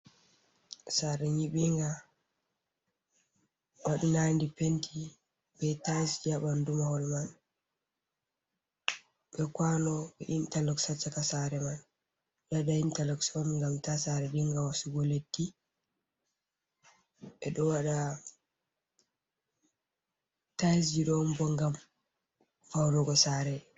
Sare nyibinga waɗinadi penti be tailsji ha ɓandu mahol mai be kwano intarloxon ha caka sare man, ɓeɗo waɗa intarloxon on ngam ta sare binga wasugo leddi ɓe ɗo waɗa tailsji ɗo on bo ngam faunugo sare.